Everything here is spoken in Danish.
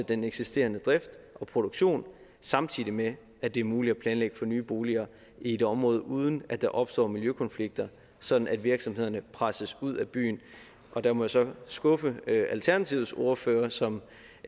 den eksisterende drift og produktion samtidig med at det er muligt at planlægge for nye boliger i et område uden at der opstår miljøkonflikter sådan at virksomhederne presses ud af byen der må jeg så skuffe alternativets ordfører som